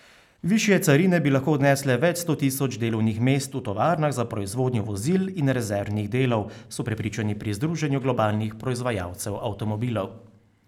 Višje carine bi lahko odnesle več sto tisoč delovnih mest v tovarnah za proizvodnjo vozil in rezervnih delov, so prepričani pri združenju globalnih proizvajalcev avtomobilov.